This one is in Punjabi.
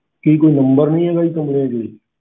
ਕੀ ਕੋਈ number ਨਹੀਂ ਹੈਗਾ